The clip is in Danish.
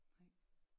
Nej